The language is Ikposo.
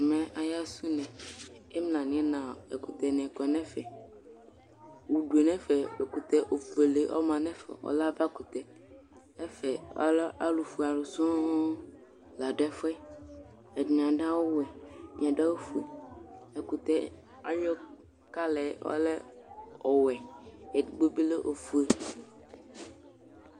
ɛmɛ aya sɛ unɛ imla n'ina ɛkutɛ ni kɔ n'ɛfɛ udue n'ɛfɛ ɛkutɛ fuele ɔma n'ɛfɛ ɔlɛ ava kutɛ ɛfɛ alɛ alo fue alo sɔŋ la do ɛfuɛ ɛdini ado awu wɛ ɛdini ado awu fue ɛkutɛ ayi kala ɔlɛ ɔwɛ edigbo bi lɛ ofue